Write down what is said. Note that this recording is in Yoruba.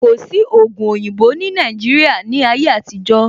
Kò sí ògùn oyinbo ní Nàìjíría ní ayé àtijó